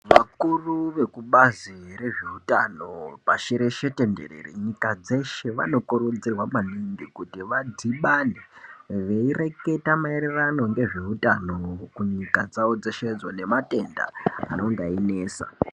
Vakuru vekubazi rezvehutano pashi reshe tenderera nyika dzeshe vanokurudzirwa maningi kuti vadhibane veireketa maererano nezvehutano ndau dzeshe nematenda anenge einetsa.